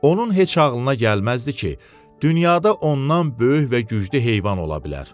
Onun heç ağlına gəlməzdi ki, dünyada ondan böyük və güclü heyvan ola bilər.